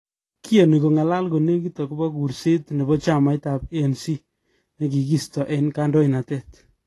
Kiyono kongalal konekit okobo kurset nebo chamait ab ANC nekisto eng kadoinatet.